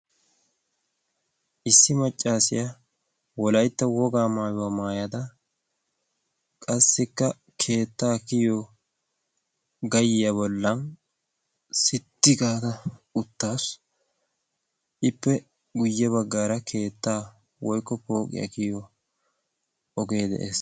Issi maccaasiyaa wolaytta wogaa maayuwaa maayada qassikka keettaa kiyo gayyiya bollan sitti gaada uttaassu ippe guyye baggaara keettaa woiqko pooqiyaa kiyo ogee de'ees.